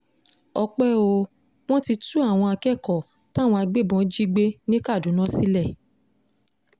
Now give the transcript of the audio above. ọpẹ́ o wọ́n ti tú àwọn akẹ́kọ̀ọ́ táwọn agbébọn jí gbé ní kaduna sílẹ̀